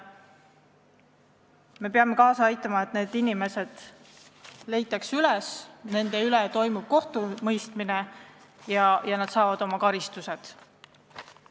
Me peame kaasa aitama, et need inimesed leitakse üles, et nende üle toimub kohtumõistmine ja nad saavad oma karistuse.